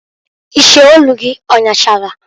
Iche olu gị ọnyachara?